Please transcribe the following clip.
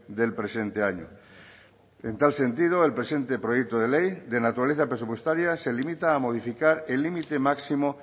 del presente año en tal sentido el presente proyecto de ley de naturaleza presupuestaria se limita a modificar el límite máximo